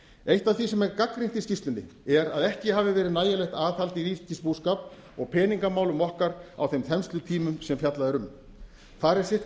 eitt af því sem er gagnrýnt í skýrslunni er að ekki hafi verið nægilegt aðhald í ríkisbúskap og peningamálum okkar á þeim þenslutímum sem fjallað er um þar er sitt hvað